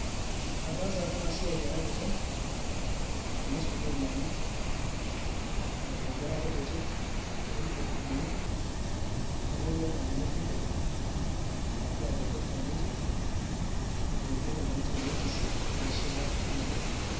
Ataasa apa enasiai ara kiti, amu sukuul ena napuo nkera kutitik niturrurruni, nelotu ormalimui kitok arashu abotor teninje, aliki enikoni tenigisi, neshipa ninche oleng'.